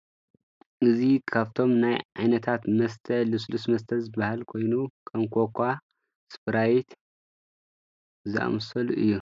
እዚ ካብቶም ናይ ዓይነታት መስተ ልስሉስ መስተ ዝባሃል ኮይኑ ከም ኮካ ፣ ስኘራይት ዝኣመሰሉ እዩ፡፡